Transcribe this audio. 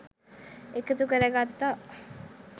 එකතු කර ගත්තා